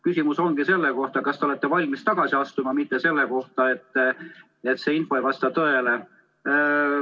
Küsimus ongi selle kohta, kas te olete valmis tagasi astuma, mitte selle kohta, et see info ei vasta tõele.